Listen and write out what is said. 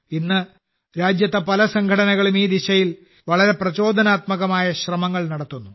ഇന്ന് രാജ്യത്തെ പല സംഘടനകളും ഈ ദിശയിൽ വളരെ പ്രചോദനാത്മകമായ ശ്രമങ്ങൾ നടത്തുന്നു